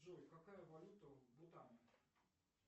джой какая валюта в бутане